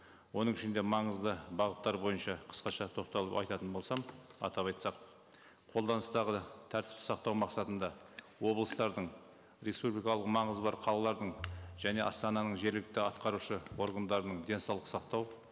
оның ішінде маңызды бағыттар бойынша қысқаша тоқталып айтатын болсам атап айтсақ қолданыстағы тәртіп сақтау мақсатында облыстардың республикалық маңызы бар қалалардың және астананың жергілікті атқарушы органдарының денсаулық сақтау